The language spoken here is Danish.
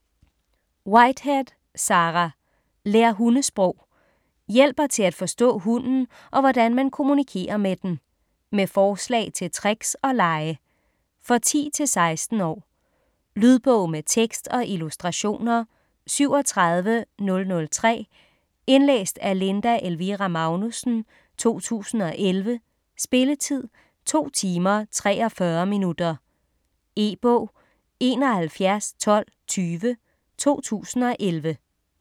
Whitehead, Sarah: Lær hundesprog Hjælper til at forstå hunden og hvordan man kommunikerer med den. Med forslag til tricks og lege. For 10-16 år. Lydbog med tekst og illustrationer 37003 Indlæst af Linda Elvira Magnussen, 2011. Spilletid: 2 timer, 43 minutter. E-bog 711220 2011.